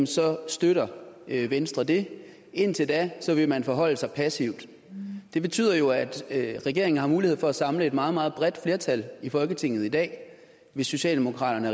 så støtter venstre det indtil da vil man forholde sig passivt det betyder jo at regeringen har mulighed for at samle et meget meget bredt flertal i folketinget i dag hvis socialdemokraterne